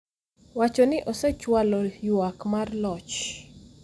wacho ni osechwalo ywak mar loch